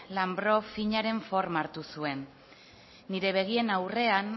lanbro finaren forma hartu zuen nire begien aurrean